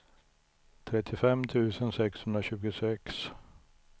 trettiofem tusen sexhundratjugosex